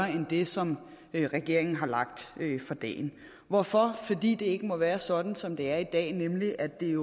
end det som regeringen har lagt for dagen hvorfor fordi det ikke må være sådan som det er i dag nemlig at det